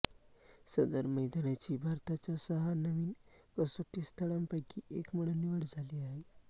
सदर मैदानाची भारताच्या सहा नवीन कसोटी स्थळांपैकी एक म्हणून निवड झाली आहे